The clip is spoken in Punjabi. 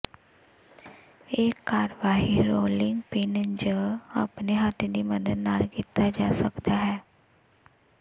ਇਹ ਕਾਰਵਾਈ ਰੋਲਿੰਗ ਪਿੰਨ ਜ ਆਪਣੇ ਹੱਥ ਦੀ ਮਦਦ ਨਾਲ ਕੀਤਾ ਜਾ ਸਕਦਾ ਹੈ